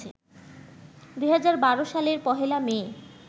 ২০১২ সালের পহেলা মে